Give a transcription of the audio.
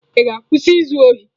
Ị ga-akwụsị izu ohi?